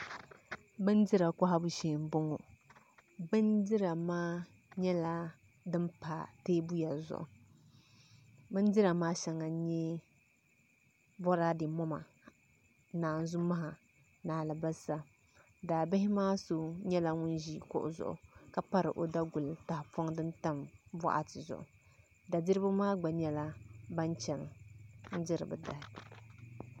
Bindira kohabu shee n boŋo bindira maa nyɛla din pa teebuya zuɣu bindira maa shɛŋa n nyɛ Boraadɛ moma naanzu maha ni alibarisa daa bihi maa so nyɛla ŋun ʒi kuɣu zuɣu ka pari o daguli maa tahapona maa shɛli ni da diribi maa gba nyɛla bin chɛni n diri bi dahi